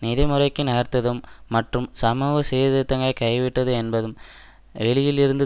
நிதி முறைக்கு நகர்ந்ததும் மற்றும் சமூக சீர்திருத்தங்கைவிட்டது என்பதும் வெளியில் இருந்து